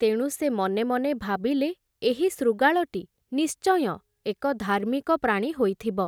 ତେଣୁ, ସେ ମନେ ମନେ ଭାବିଲେ, ଏହି ଶୃଗାଳଟି, ନିଶ୍ଚୟଁ ଏକ ଧାର୍ମିକ ପ୍ରାଣୀ ହୋଇଥିବ ।